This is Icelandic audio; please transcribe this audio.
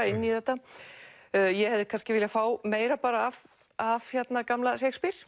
inn í þetta ég hefði kannski viljað fá meira af af gamla Shakespeare